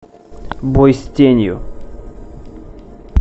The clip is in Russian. бой с тенью